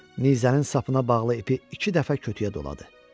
Nizənin sapına bağlı ipi iki dəfə kötüklə doladı.